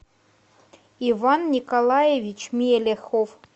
иван николаевич мелихов